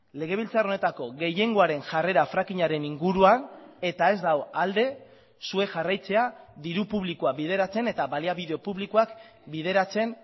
legebiltzar honetako gehiengoaren jarrera frackingaren inguruan eta ez dago alde zuek jarraitzea diru publikoa bideratzen eta baliabide publikoak bideratzen